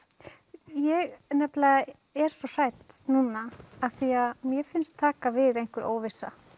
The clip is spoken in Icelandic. ég er nefnilega svo hrædd núna því mér finnst taka við einhver óvissa